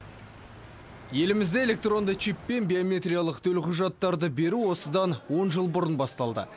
елімізде электронды чиппен биометриялық төлқұжаттарды беру осыдан он жыл бұрын басталды